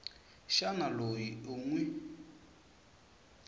xana loyi u n wi